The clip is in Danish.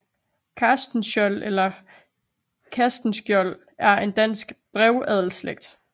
Castenschiold eller Castenskiold er en dansk brevadelsslægt